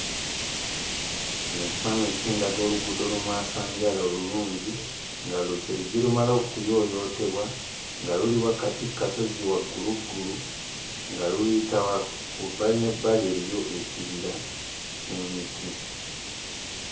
Kino ekifaananyi kindaga oluguudo lumwasanjala olulungi nga kyerujje lumale okuyooyootebwa nga luli wakati ku kasozi wagguluggulu, nga luyita, ku bbali n'ebbali eriyo ekibira ky'emiti.